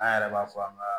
An yɛrɛ b'a fɔ an ka